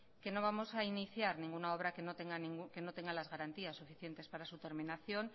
que no vamos a iniciar ninguna obra que no tenga las garantías suficientes para su terminación